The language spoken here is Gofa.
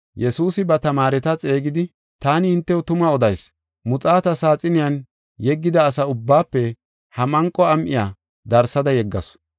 Yesuusi ba tamaareta xeegidi, “Taani hintew tuma odayis; muxaata saaxiniyan yeggida asa ubbaafe ha manqo am7iya darsada yeggasu.